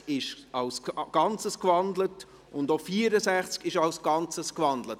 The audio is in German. Die Traktanden 61, 63 und 64 wurden als Ganzes gewandelt.